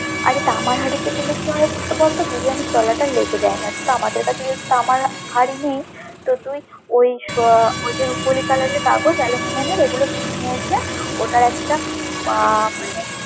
আরে তামার হাড়িতে দিলে কি হয় বলতো? বিরিয়ানির তলাটা লেগে যায় না, কিন্তু আমাদের কাছে যেহেতু তামার হাড়ি নেই, তো তুই আহ ওই যে রুপোলি কালারের কাগজ aluminium এর, ওগুলো কিনে নিয়ে এসে ওটা একটা আহ মানে।